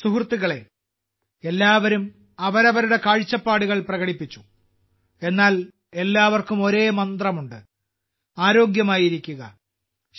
സുഹൃത്തുക്കളേ എല്ലാവരും അവരവരുടെ കാഴ്ചപ്പാടുകൾ പ്രകടിപ്പിച്ചു എന്നാൽ എല്ലാവർക്കും ഒരേ മന്ത്രം ഉണ്ട് ആരോഗ്യമായിരിക്കുക